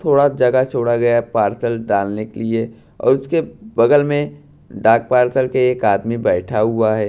थोड़ा जगह छोड़ा गया पार्सल डालने के लिए और उसके बगल में डाक पार्सल के एक आदमी बैठा हुआ है।